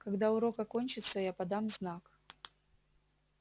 когда урок окончится я подам знак